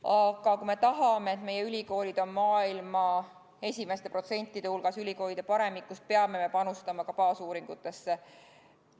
Aga kui me tahame, et meie ülikoolid oleksid maailma esimeste hulgas, ülikoolide paremikus, siis me peame panustama ka baasuuringutesse.